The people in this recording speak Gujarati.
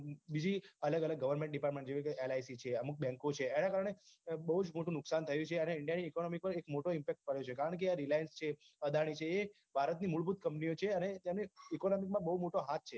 બીજી અલગ અલગ goverment department જેવી કે lic છે અમુક bank છે એના કારણે બહુજ મોટો નુકસાન થયો છે india ની economy પર બહુ જ મોટો effect પડ્યો છે કારણ કે આ reliance છે Adani છે એ ભારતની મૂળભૂત company ઓ છે અને તેનો economy મા બહુ મોટો હાથ છે